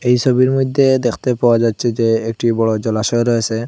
এ ছবির মইধ্যে দেখতে পাওয়া যাচ্ছে যে একটি বড়ো জলাশয় রয়েসে ।